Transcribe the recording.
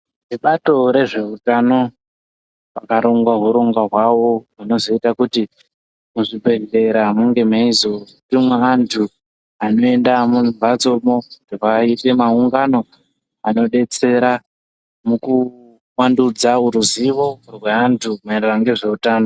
Vebato rezvehutano vakaronga hurongwa hwavo hunozoita kuti muzvibhedhlera munge meizotumwa antu anoenda mumhatsomo. Rweiita maungano anobetsera mukuvandudzavo ruzivo rweantu maererano ngezveutano.